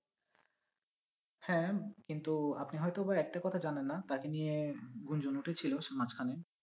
হ্যাঁ কিন্তু আপনি হয়তো বা একটা কথা জানেন না তাকে নিয়ে গুঞ্জন উঠেছিল মাঝখানে